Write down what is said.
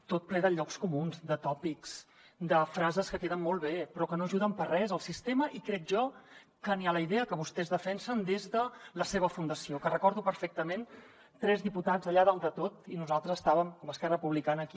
tot ple de llocs comuns de tòpics de frases que queden molt bé però que no ajuden per a res el sistema i crec jo que ni la idea que vostès defensen des de la seva fundació que recordo perfectament tres diputats allà dalt de tot i nosaltres estàvem amb esquerra republicana aquí